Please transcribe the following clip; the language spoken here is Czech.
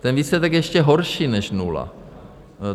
Ten výsledek je ještě horší než nula.